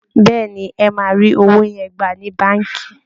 Bẹ́ẹ̀ ni, ẹ máa rí owó yẹn gbà ní Báǹkì